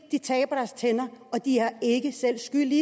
de taber deres tænder og de er ikke selv skyld i